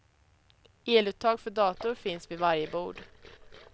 Eluttag för dator finns vid varje bord.